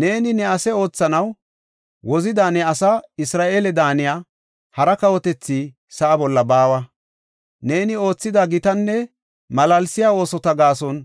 Neeni ne ase oothanaw wozida ne asaa Isra7eele daaniya hara kawotethi sa7a bolla baawa. Neeni oothida gitanne malaalsiya oosota gaason